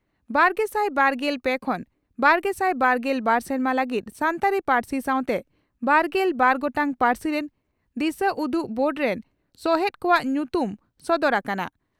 ᱵᱟᱨᱜᱮᱥᱟᱭ ᱵᱟᱨᱜᱮᱞ ᱯᱮ ᱠᱷᱚᱱ ᱵᱟᱨᱜᱮᱥᱟᱭ ᱵᱟᱨᱜᱮᱞ ᱵᱟᱨ ᱥᱮᱨᱢᱟ ᱞᱟᱹᱜᱤᱫ ᱥᱟᱱᱛᱟᱲᱤ ᱯᱟᱹᱨᱥᱤ ᱥᱟᱣᱛᱮ ᱵᱟᱨᱜᱮᱞ ᱵᱟᱨ ᱜᱚᱴᱟᱝ ᱯᱟᱹᱨᱥᱤ ᱨᱮᱱ ᱫᱤᱥᱟᱹᱩᱫᱩᱜ ᱵᱳᱨᱰ ᱨᱮᱱ ᱥᱚᱦᱮᱛ ᱠᱚᱣᱟᱜ ᱧᱩᱛᱩᱢ ᱥᱚᱫᱚᱨ ᱟᱠᱟᱱᱟ ᱾